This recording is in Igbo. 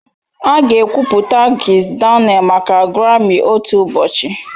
Aga ekwupụta Kizz Daniel maka Grami otu ụbọchị